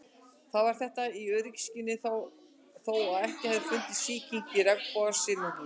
Var þetta gert í öryggisskyni þó að ekki hefði fundist sýking í regnbogasilungnum.